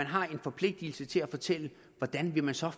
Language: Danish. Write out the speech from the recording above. har en forpligtelse til at fortælle hvordan man så